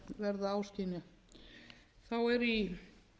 verða áskynja þá er í